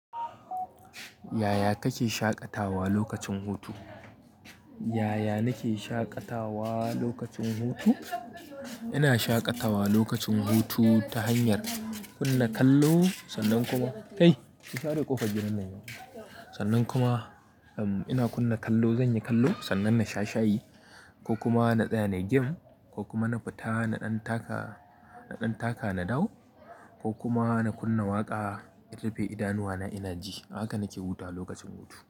Yaya kake shaƙatawa lokacin hutu? Yaya nake shaƙatawa lokacin hutu? Ina shaƙatawa lokacin hutu ta hanyar kunna kallo sannan kuma sannan kuma ina kunna kallo, zanyi kallo sannan na sha shayi ko kuma na tsaya na yi game ko kuma na fita na ɗan taka, na ɗan taka na dawo ko kuma na kunna waƙa in rufe idanuwa na ina ji. Haka nake huta lokacin hutu.